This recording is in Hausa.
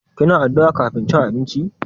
Kina addu'a kafin cin abinci?